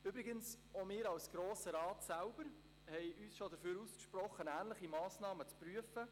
Übrigens auch wir als Grosser Rat selbst haben uns bereits einmal dafür ausgesprochen, ähnliche Massnahmen zu prüfen.